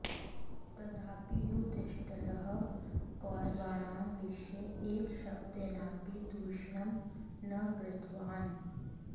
तदापि युधिष्ठिरः कौरवाणां विषये एकशब्देनापि दूषणं न कृतवान्